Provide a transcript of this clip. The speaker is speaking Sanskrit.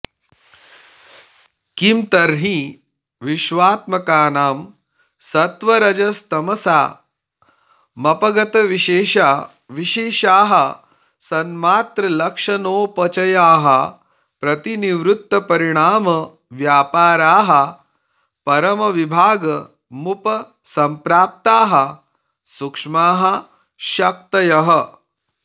किं तर्हि विश्वात्मकानां सत्त्वरजस्तमसामपगतविशेषाविशेषाः सन्मात्रलक्षणोपचयाः प्रतिनिवृत्तपरिणामव्यापाराः परमविभागमुपसम्प्राप्ताः सूक्ष्माः शक्तयः